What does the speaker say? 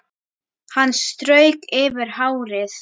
Hann strauk yfir hárið.